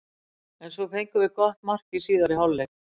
En svo fengum við gott mark í síðari hálfleik.